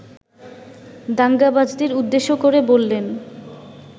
দাঙ্গাবাজদের উদ্দেশ্য করে বললেন